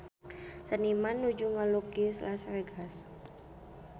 Seniman nuju ngalukis Las Vegas